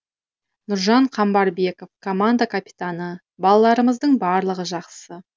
нұржан қамбарбеков команда капитаны балаларымыздың барлығы жақсы